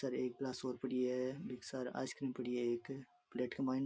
यहाँ एक गिलास और पड़ी है एक सायद आइसक्रीम पड़ी है एक प्लेट के माइन --